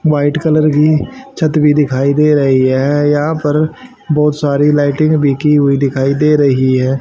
White colour की छत भी दिखाई दे रही हैं यहां पर बहुत सारी लाइटिंग भी की हुई दिखाई दे रही है।